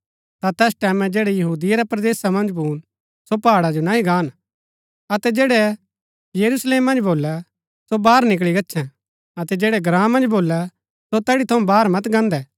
ता तैस टैमैं जैड़ै यहूदिया रै परदेसा मन्ज भून सो पहाड़ा जो नह्ही गान अतै जैड़ै यरूशलेम मन्ज भोलै सो बाहर निकळी गच्छैं अतै जैड़ै ग्राँ मन्ज भोलै सो तैड़ी थऊँ बाहर मत गान्दै